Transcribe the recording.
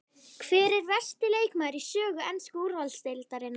Hver er versti leikmaður í sögu ensku úrvalsdeildarinnar?